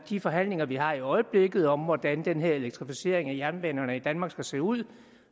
de forhandlinger vi har i øjeblikket om hvordan den her elektrificering af jernbanerne i danmark skal se ud